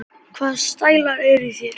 Hvaða stælar eru í þér?